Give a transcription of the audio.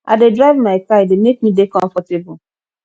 i dey drive my car e dey make me dey comfortable